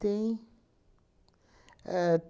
Tem. Ahn